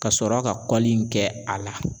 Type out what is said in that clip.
Kasɔrɔ ka kɔli in kɛ a la